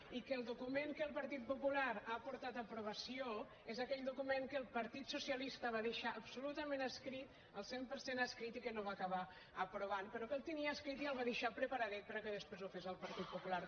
i que el document que el partit popular ha portat a aprovació és aquell document que el partit socialista va deixar absolutament escrit el cent per cent escrit i que no va acabar aprovant però que el tenia escrit i el va deixar preparadet perquè després ho fes el partit popular